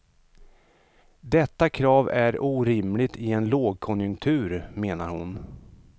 Detta krav är orimligt i en lågkonjunktur, menar hon.